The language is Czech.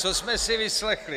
Co jsme si vyslechli?